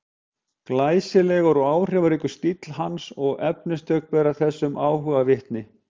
Glæsilegur og áhrifaríkur stíll hans og efnistök bera þessum áhuga vitni.